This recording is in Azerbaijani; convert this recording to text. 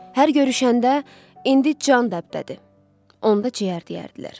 Hər görüşəndə “indi can dəbdədir, onda ciyər” deyərdilər.